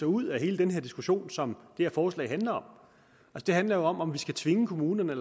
ud af hele den her diskussion som det her forslag handler om det handler jo om om vi skal tvinge kommunerne